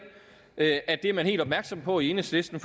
at det er man helt opmærksom på i enhedslisten